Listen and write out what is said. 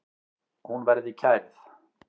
Hún verði kærð.